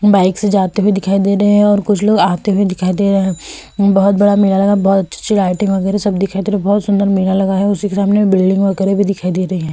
Bike से जाते हुए दिखाई दे रहे हैं और कुछ लोग आते हुए दिखाई दे रहे हैं। बहुत बड़ा मेला लगा हुआ है। बहुत अच्छी-अच्छी लाइटिंग वगैरह सब दिखाई दे रही है। बहुत सुन्दर मेला लगा हुआ है। उसी के सामने बिल्डिंग वगैरह भी दिखाई दे रही हैं ।